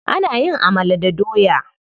Ana yin amala da doya.